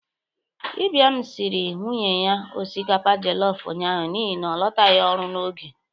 Ibiam siri nwunye ya osikapa jọlọf ụnyaahụ n'ihi na ọ lọtaghi ọrụ n'oge.